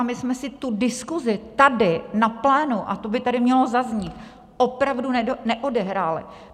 A my jsme si tu diskusi tady na plénu, a to by tady mělo zaznít, opravdu neodehráli.